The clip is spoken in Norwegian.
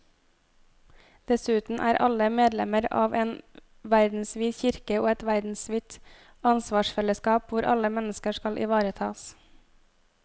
Dessuten er alle medlemmer av en verdensvid kirke og et verdensvidt ansvarsfellesskap hvor alle mennesker skal ivaretas.